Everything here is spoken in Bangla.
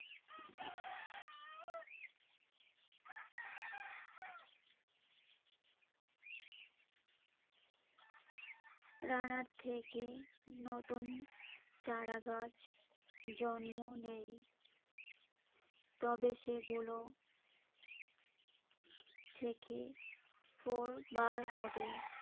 রানার থেকে নতুন চারাগাছ জন্ম নেয়। তবে সেগুলো থেকে কোর বার হবে।